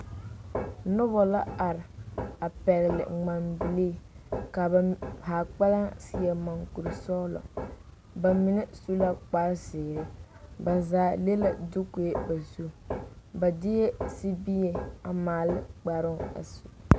Noba la are a pɛgle ŋmanbilii ka ba haa kpɛlɛŋ seɛ monkurisɔglɔ ba mine su la kparezeere ba zaa le la dukoe ba zu ba deɛ sibie a maale ne kparoo a su.